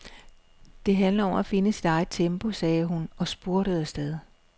Det handler om at finde sit eget tempo, sagde hun og spurtede afsted.